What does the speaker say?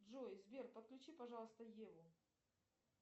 джой сбер подключи пожалуйста еву